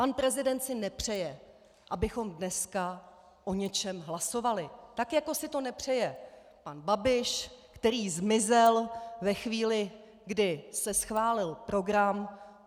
Pan prezident si nepřeje, abychom dneska o něčem hlasovali, tak jako si to nepřeje pan Babiš, který zmizel ve chvíli, kdy se schválil program.